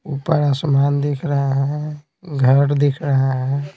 ऊपर आसमान दिख रहा है घर दिख रहा है।